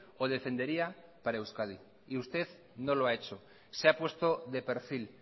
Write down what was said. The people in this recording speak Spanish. o defendería para euskadi y usted no lo ha hecho se ha puesto de perfil